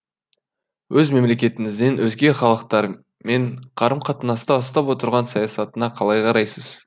өз мемлекетіңіздің өзге халықтармен қарым қатынаста ұстап отырған саясатына қалай қарайсыз